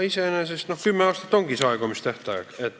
Iseenesest kümme aastat ongi see aegumistähtaeg.